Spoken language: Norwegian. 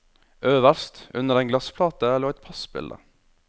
Øverst, under en glassplate lå et passbilde.